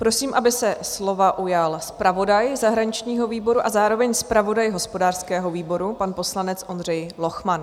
Prosím, aby se slova ujal zpravodaj zahraničního výboru a zároveň zpravodaj hospodářského výboru, pan poslanec Ondřej Lochman.